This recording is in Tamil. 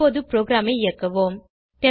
இப்போது ப்ரோகிராமை இயக்குவோம்